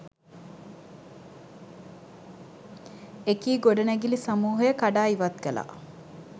එකී ගොඩනැගිලි සමූහය කඩා ඉවත් කළා.